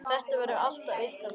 Þetta verður alltaf ykkar barn.